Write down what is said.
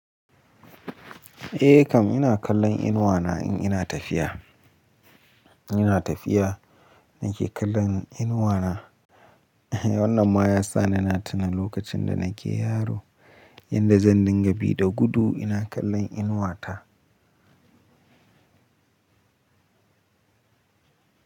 Eh kam ina kallon inuwa na in ina tafiya, in ina tafiya nake kallon inuwa na. Wannan ma yasa ni na tuna lokacin da nake yaro, yadda zan dinga bi da gudu ina kallon inuwa ta.